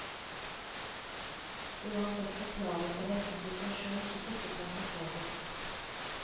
Uansett forklaring er dette en situasjon som ikke kan forsvares.